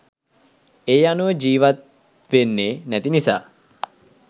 ඒ අනුව ජිවත් වෙන්නේ නැති නිසා.